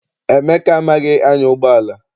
Emeka amaghị anya ụgbọala.